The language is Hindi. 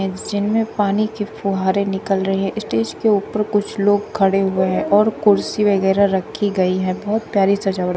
पानी के फुहारे निकल रहे हैं स्टेज के ऊपर कुछ लोग खड़े हुए हैं और कुर्सी वगैरा रखी गई है बहोत प्यारी सजावट--